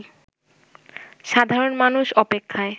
সাধারণ মানুষ অপেক্ষায়